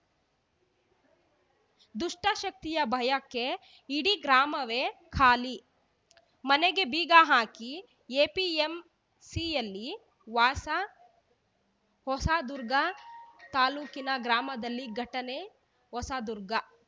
ದುಷ್ಟಶಕ್ತಿಯ ಭಯಕ್ಕೆ ಇಡೀ ಗ್ರಾಮವೇ ಖಾಲಿ ಮನೆಗೆ ಬೀಗ ಹಾಕಿ ಎಪಿಎಂಸಿಯಲ್ಲಿ ವಾಸ ಹೊಸದುರ್ಗ ತಾಲೂಕಿನ ಗ್ರಾಮದಲ್ಲಿ ಘಟನೆ ಹೊಸದುರ್ಗ